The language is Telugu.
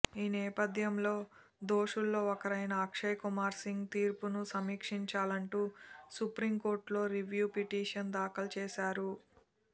ఈ నేపథ్యంలో దోషుల్లో ఒకరైన అక్షయ్ కుమార్ సింగ్ తీర్పును సమీక్షించాలంటూ సుప్రీం కోర్టులో రివ్యూ పిటిషన్ దాఖలు చేశారు